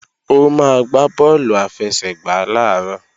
Ó máa gbá bọ́ọ̀lù àfẹsẹ̀gbá làárọ̀